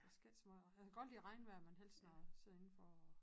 Der skal ikke så meget jeg kan godt lide regnvejr men helst når jeg sidder indenfor og